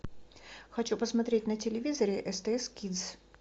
хочу посмотреть на телевизоре стс кидс